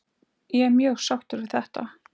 Ég er mjög sáttur við þetta?